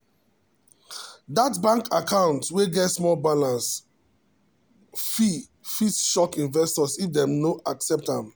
that bank account wey get small balance fee fit shock investors if dem no expect am.